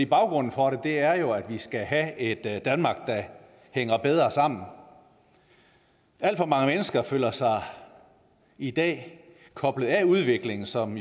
baggrunden for det er jo at vi skal have et danmark der hænger bedre sammen alt for mange mennesker føler sig i dag koblet af udviklingen som